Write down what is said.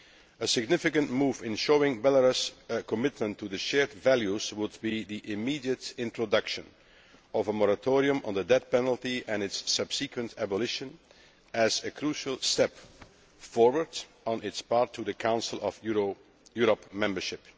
A significant move in showing Belarus' commitment to shared values would be the immediate introduction of a moratorium on the death penalty and its subsequent abolition as a crucial step forward on its path to Council of Europe membership.